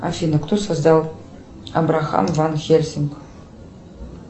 афина кто создал абрахам ван хельсинг